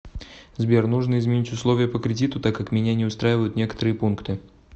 сбер нужно изменить условия по кредиту так как меня не устраивают некоторые пункты